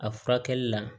A furakɛli la